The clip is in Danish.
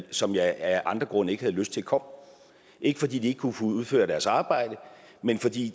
som jeg af andre grunde ikke havde lyst til kom ikke fordi de ikke kunne udføre deres arbejde men fordi